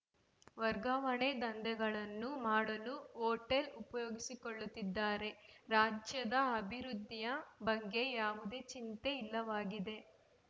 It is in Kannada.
ವರ್ಗಾವಣೆ ದಂಧೆಗಳನ್ನು ಮಾಡಲು ಹೊಟೇಲ್‌ ಉಪಯೋಗಿಸಿಕೊಳ್ಳುತ್ತಿದ್ದಾರೆ ರಾಜ್ಯದ ಅಭಿವೃದ್ಧಿಯ ಬಗ್ಗೆ ಯಾವುದೇ ಚಿಂತೆ ಇಲ್ಲವಾಗಿದೆ